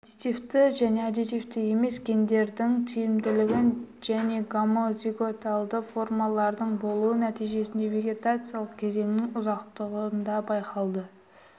аддитивті және аддитивті емес гендердің тиімділігін және гомозиготалы формалардың болуы нәтижесінде вегетациялық кезеңнің ұзақтығында байқалады